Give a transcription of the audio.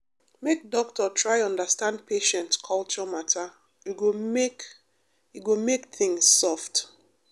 make doctor try understand patient culture matter e go make e go make things soft.